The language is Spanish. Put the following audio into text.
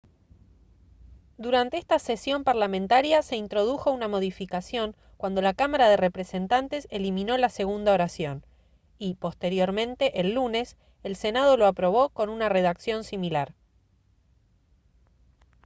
durante esta cesión parlamentaria se introdujo una modificación cuando la cámara de representantes eliminó la segunda oración y posteriormente el lunes el senado lo aprobó con una redacción similar